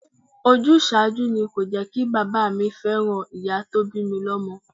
Ojúsàájú ni kò jẹkí bàbá mi fẹ́ràn ìyá tó bi lọmọ.